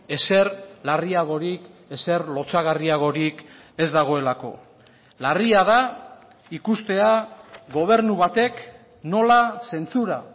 ezer larriagorik ezer lotsagarriagorik ez dagoelako larria da ikustea gobernu batek nola zentsura